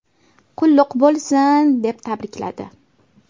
Qulluq bo‘lsin!”, deb tabrikladi.